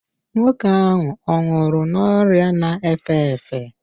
nwoke ahụ ọ nwụrụ n'ọrịa na-efe efe?